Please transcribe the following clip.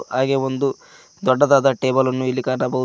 ಹಾಗೆ ಒಂದು ದೊಡ್ಡದಾದ ಟೇಬಲನ್ನು ಇಲ್ಲಿ ಕಾಣಬಹುದು.